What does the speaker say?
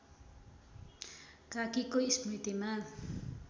काकीको स्मृतिमा